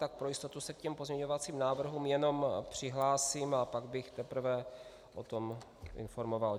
Tak pro jistotu se k těm pozměňovacím návrhům jenom přihlásím a pak bych teprve o tom informoval.